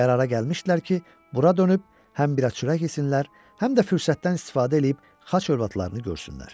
Qərara gəlmişdilər ki, bura dönüb həm biraz çörək yesinlər, həm də fürsətdən istifadə eləyib xaç övladlarını görsünlər.